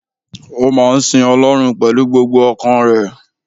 Ó máa ń sin Ọlọ́run pẹ̀lú gbogbo ọkàn rẹ̀